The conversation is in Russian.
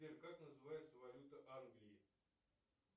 сбер как называется валюта англии